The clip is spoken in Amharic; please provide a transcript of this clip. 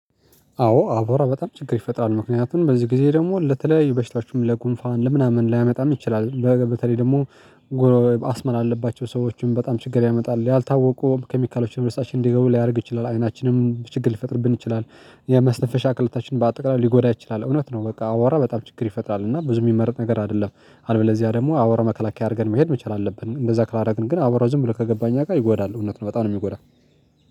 አዎ አብዋራ በጣም ችግር ይፈጥራል ምክንያቱም በዚህ ጊዜ ደግሞ ለተለያዩ በሽታችሁም ለጉንፋን ለምናምን ሊያመጣን ይችላል። በተለይ ደግሞ ጎረጎረብ አስመራ አለባቸው ሰዎችን በጣም ችግር ያመጣል ያልታወቁ ኬሚካሎችን ወይም ደስታችን እንዲገቡ ሊያደርግ ይችላል። አይናችንም ችግር ሊፈጥርብን ይችላል የመስፈሻ ክልታችን በአጠቃላይ ሊጎዳ ይችላል። እውነት ነው በቃ አብዋራ በጣም ችግር ይፈጥራል እና ብዙ የሚመረጥ ነገር አይደለም። አልበለዚያ ደግሞ አብዋራ መከላከያ አድርገን መሄድ መቻል አለብን። እንደዛ ካላደረግን ግን አብዋራ ዝም ብሎ ከገባኝ አካባቢ ጋር ይጎዳል እውነት ነው በጣም ነው የሚጎዳው።